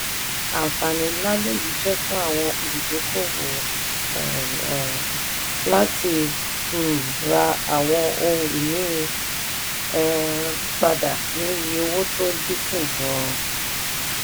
àǹfààní ńlá lèyí jẹ́ fún àwọn olùdókòwò láti um ra àwọn ohun ìní um padà ní iye owó tó dín kù gan-an.